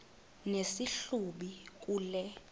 nesi hlubi kule